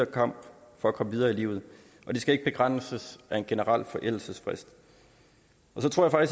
kamp for at komme videre i livet det skal ikke begrænses af en generel forældelsesfrist så tror jeg